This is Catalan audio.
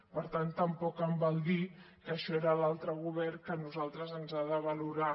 per tant tampoc em val dir que això era l’altre govern que a nosaltres ens ha de valorar